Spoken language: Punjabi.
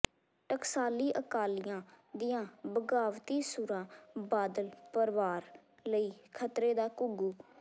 ਟਕਸਾਲੀ ਅਕਾਲੀਆਂ ਦੀਆਂ ਬਗ਼ਾਵਤੀ ਸੁਰਾਂ ਬਾਦਲ ਪਰਵਾਰ ਲਈ ਖ਼ਤਰੇ ਦਾ ਘੁੱਗੂ